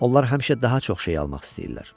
Onlar həmişə daha çox şey almaq istəyirlər.